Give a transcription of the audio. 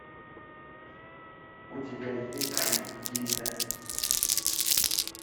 у тебя есть фильм гильда